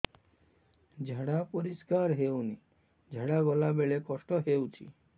ଝାଡା ପରିସ୍କାର ହେଉନି ଝାଡ଼ା ଗଲା ବେଳେ କଷ୍ଟ ହେଉଚି